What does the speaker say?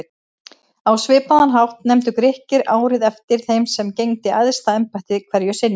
Á svipaðan hátt nefndu Grikkir árið eftir þeim sem gegndi æðsta embætti hverju sinni.